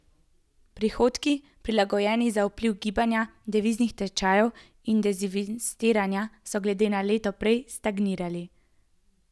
Prihodki, prilagojeni za vpliv gibanja deviznih tečajev in dezinvestiranja, so glede na leto prej stagnirali.